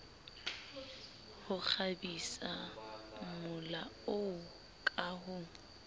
ho kgabisamola oo ka ho